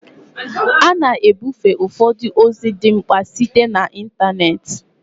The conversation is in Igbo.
A na-ebufe ụfọdụ ozi dị mkpa site na ịntanetị